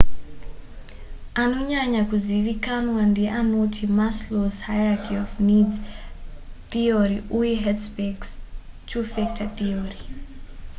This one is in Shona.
anonyanya kuzivikanwa ndeanoti maslow's hierachy of needs theory uye hertzberg's two factor theory